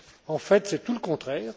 En fait, c'est tout le contraire.